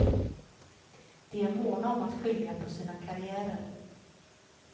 De är måna om att skilja på sina karriärer.